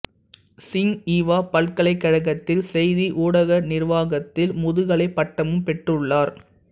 சிங்ஹீவா பல்கலைக்கழகத்தில் செய்தி ஊடக நிர்வாகத்தில் முதுகலைப் பட்டமும் பெற்றுள்ளார்